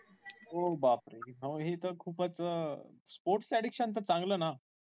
ओ बाप रे अहो हे तर खूपच sports च addiction तर चांगलं ना?